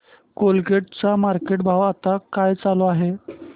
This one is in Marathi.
कोलगेट चा मार्केट भाव आता काय चालू आहे